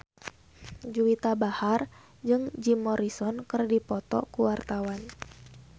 Juwita Bahar jeung Jim Morrison keur dipoto ku wartawan